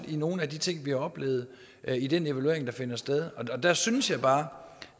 i nogle af de ting vi har oplevet i den evaluering der finder sted der synes jeg bare